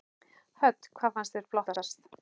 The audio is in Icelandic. Hödd: Hvað finnst þér flottast?